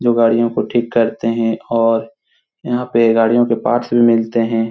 जो गाड़ियों को ठीक करते हैं और यहाँ पे गाड़ियों के पार्ट्स भी मिलते हैं |